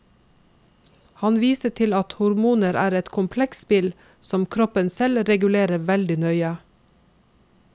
Han viser til at hormoner er et komplekst spill, som kroppen selv regulerer veldig nøye.